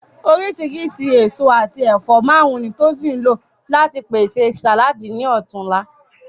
Oríṣìíríṣìí èso àti ẹ̀fọ́ márùn-ún ni Tosin lò láti pèsè sàláàdì ní ọ̀tunla